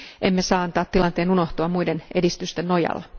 Emme saa tilanteen antaa unohtua muiden edistysten nojalla.